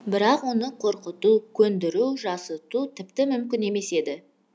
бірақ оны қорқыту көндіру жасыту тіпті мүмкін емес еді